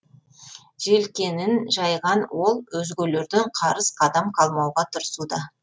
желкенін жайған ол өзгелерден қарыс қадам қалмауға тырысуда